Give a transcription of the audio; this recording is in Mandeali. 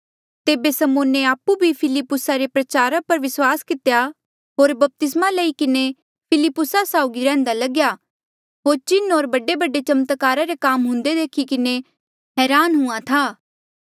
तेबे समौने आपु भी फिलुप्पुसा रे प्रचारा पर विस्वास कितेया होर बपतिस्मा लई किन्हें फिलिप्पुसा साउगी रैहन्दा लग्या होर चिन्ह होर बडेबडे चमत्कारा रे काम हुंदे देखी किन्हें हरान हुंहां था